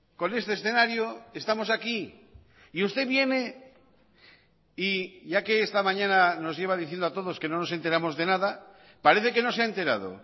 con este escenario estamos aquí y usted viene y ya que esta mañana nos lleva diciendo a todos que no nos enteramos de nada parece que no se ha enterado